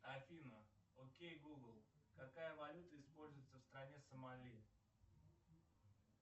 афина окей гугл какая валюта используется в стране сомали